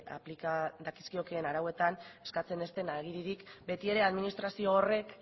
aplika dakizkiokeen arauetan eskatzen ez den agiririk beti ere administrazio horrek